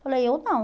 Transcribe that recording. Falei, eu não.